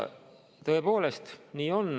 Tõepoolest, nii on.